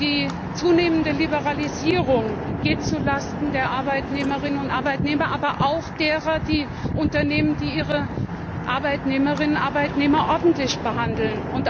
Die zunehmende Liberalisierung geht zulasten der Arbeitnehmerinnen und Arbeitnehmer, aber auch zulasten der Unternehmen, die Arbeitnehmerinnen und Arbeitnehmer ordentlich behandeln.